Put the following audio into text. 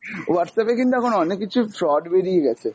Whatsapp এ কিন্তু এখন অনেক কিছু fraud বেরিয়ে গেছে।